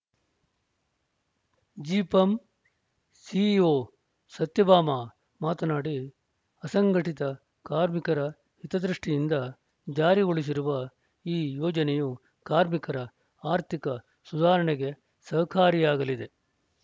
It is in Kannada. ಜಿಪಂ ಸಿಇಒ ಸತ್ಯಭಾಮಾ ಮಾತನಾಡಿ ಅಸಂಘಟಿತ ಕಾರ್ಮಿಕರ ಹಿತದೃಷ್ಟಿಯಿಂದ ಜಾರಿಗೊಳಿಸಿರುವ ಈ ಯೋಜನೆಯು ಕಾರ್ಮಿಕರ ಆರ್ಥಿಕ ಸುಧಾರಣೆಗೆ ಸಹಕಾರಿಯಾಗಲಿದೆ